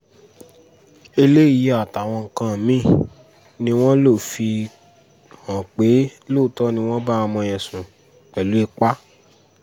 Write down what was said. eléyìí àtàwọn nǹkan mí-ín ni wọ́n lọ fihàn pé lóòótọ́ ni wọ́n bá ọmọ yẹn sùn pẹ̀lú ipa